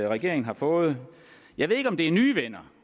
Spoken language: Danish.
regeringen har fået jeg ved ikke om det er nye venner